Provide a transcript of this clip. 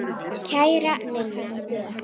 Kæra Ninna.